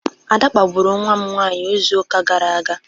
Ada kpagburu nwam nwanyi izu uka gara aga?